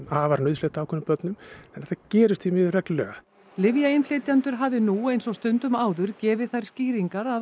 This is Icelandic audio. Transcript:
afar nauðsynlegt ákveðnum börnum þetta gerist því miður reglulega lyfjainnflytjendur hafi nú eins og stundum áður gefið þær skýringar að